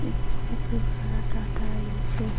इ बहुत ही बड़ा है।